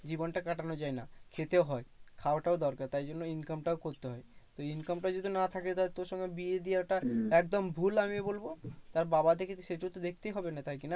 জীবনটা কাটানো যায়না। খেতেও হয় খাওয়াটাও দরকার তাই জন্যেই income টাও করতে হয়। income টা যদি না থাকে তাহলে তোর সঙ্গে বিয়ে দিয়াটা একদম ভুল আমি বলবো। তার বাবা দেখেছে সেইটা তো দেখতেই হবে না তাই কি না?